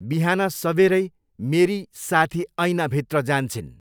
बिहान सबेरै, मेरि साथि ऐना भित्र जान्छिन्।